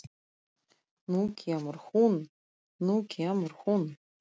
Nú kemur hún, nú kemur hún!